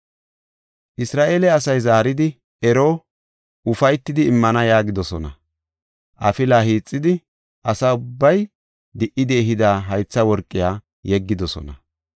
Isra7eele asay zaaridi, “Ero, ufaytidi immana” yaagidosona. Afila hiixidi, asa ubbay di77idi ehida haytha worqiya yeggidosona.